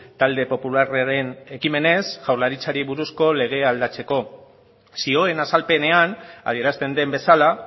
talde popularraren ekimenez jaularitzari buruzko legea aldatzeko zioen azalpenean adierazten den bezala